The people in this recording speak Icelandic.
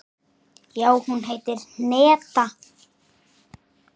Já, hún heitir Hneta.